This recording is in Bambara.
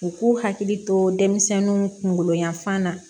U k'u hakili to denmisɛnninw kunkolo yanfan na